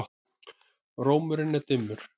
Rómurinn er dimmur.